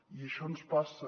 i això ens passa